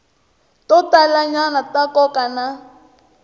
to talanyana ta nkoka na